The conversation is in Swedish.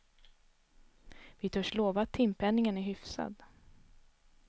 Vi törs lova att timpenningen är hyfsad.